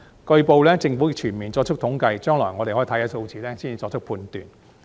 據報，政府正全面作出統計，將來我們可以先看數字，才作出判斷。